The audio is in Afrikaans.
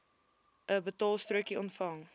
n betaalstrokie ontvang